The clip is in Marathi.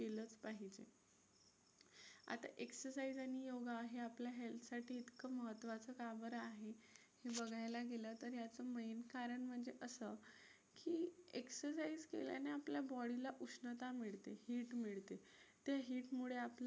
exercise आणि योगा हे आपल्या health साठी इतकं महत्त्वाचं का बरं आहे? हे बघायला गेलं तर यातून main कारण म्हणजे असं की exercise केल्याने आपल्या body ला उष्णता मिळते, heat मिळते. त्या heat मुळे